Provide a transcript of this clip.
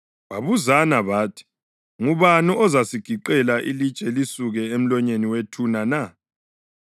babuzana bathi, “Ngubani ozasigiqela ilitshe lisuke emlonyeni wethuna na?”